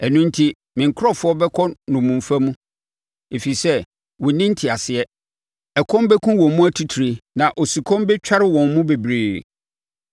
Ɛno enti, me nkurɔfoɔ bɛkɔ nnommumfa mu, ɛfiri sɛ, wɔnni nteaseɛ; ɛkɔm bɛkum wɔn mu atitire na osukɔm bɛtware wɔn mu bebree.